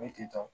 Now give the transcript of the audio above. Ne tentɔ